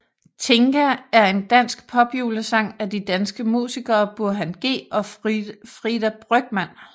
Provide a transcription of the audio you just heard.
Tinka er en dansk popjulesang af de danske musikere Burhan G og Frida Brygmann